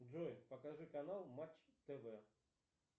джой покажи канал матч тв